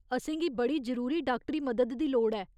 असेंगी बड़ी जरूरी डाक्टरी मदद दी लोड़ ऐ।